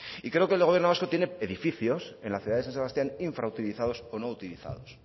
y creo que el gobierno vasco tiene edificios en la ciudad de san sebastián infrautilizados o no utilizados